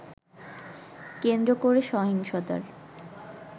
কেন্দ্র করে সহিংসতার